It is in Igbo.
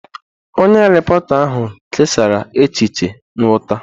Onye repọrta ahụ kesara echiche nghọta.